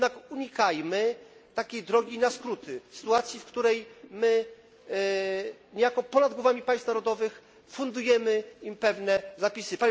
Unikajmy jednak takiej drogi na skróty w sytuacji, w której my, niejako ponad głowami państw narodowych, fundujemy im pewne zapisy.